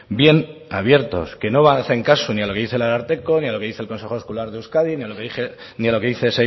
bien abiertos que no hacen caso ni a lo que dice el ararteko ni a lo que dice el consejo escolar de euskadi ni a lo que dice